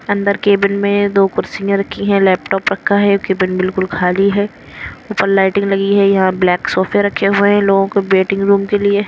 अंदर केबिन में दो कुर्सियाँ रखी हैं लैपटॉप रखा है केबिन बिल्कुल खाली है ऊपर लाइटिंग लगी है यहाँ ब्लैक सोफे रखे हुए हैं लोगों के वेटिंग रूम के लिए --